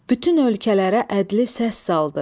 Bütün ölkələrə ədli səs saldı.